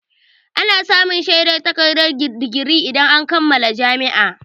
Ana samun shaidar takardar digiri idan an kammala jami'a.